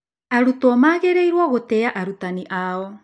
Arutwo magĩrĩirũo gũtĩa arutani ao.